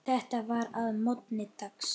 Þetta var að morgni dags.